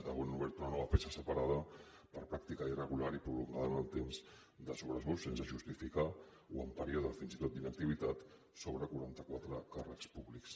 avui han obert una nova peça separada per pràctica irregular i prolongada en el temps de sobresous sense justificar o en període fins i tot d’inactivitat sobre quaranta quatre càrrecs públics